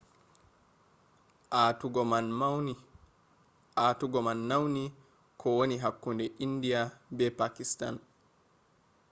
aatugo man nauni ko woni hakkunde india be pakistan